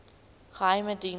geheimediens